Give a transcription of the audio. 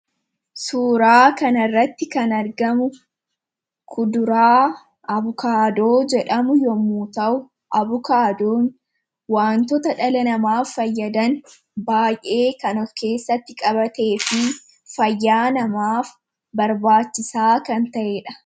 Suuraa kan irratti kan argamu kuduraa abukaadoo jedhamu yommuu ta'u, abukaadoon wantoota dhala namaaf fayyadan baa'ee kan of keessatti qabatee fi fayyaa namaaf barbaachisaa kan ta'ee dha.